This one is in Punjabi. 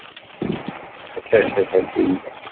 ਅੱਛਾ ਅੱਛਾ ਅੱਛਾ ਠੀਕ ਹੈ।